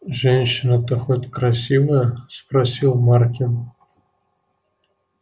женщина-то хоть красивая спросил маркин